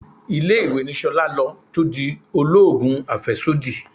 Ilé-ìwé ni Ṣolá lọ tó di oloogun afesodi.